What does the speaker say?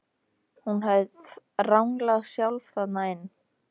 Hún hafði ranglað sjálf þarna inn.